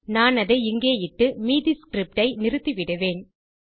நான் அதை இங்கே இட்டு மீதி ஸ்கிரிப்ட் ஐ நிறுத்திவிடுவேன்